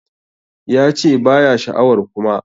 Ya che ba ya sha'awar Kuma.